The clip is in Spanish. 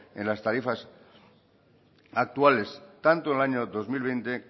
en las tarifas actuales tanto el año dos mil veinte